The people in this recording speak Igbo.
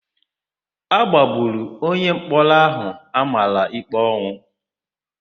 A gbagburu onyemkpọrọ áhụ̀ a mara íkpé ọnwụ.